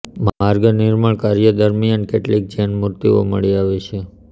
માર્ગ નિર્માણ કાર્ય દરમિયાન કેટલીક જૈન મૂર્તિઓ મળી આવી છે